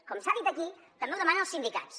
com s’ha dit aquí també ho demanen els sindicats